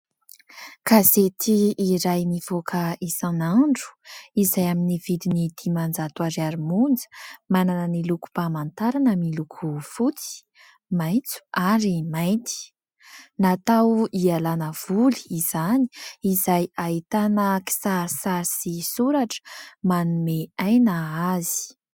Gazety iray mivoaka isanandro izay amin'ny vidiny diman-jato ariary monja. Manana ny lokom-pamantarana miloko fotsy, maitso ary mainty. Natao hialana voly izany izay ahitana kisarisary sy soratra manome aina azy.